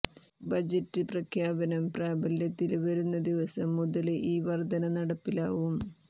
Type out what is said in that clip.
budget പ്രഖ്യാപനം പ്രാബല്യത്തില് വരുന്ന ദിവസം മുതല് ഈ വര്ധന നടപ്പിലാവും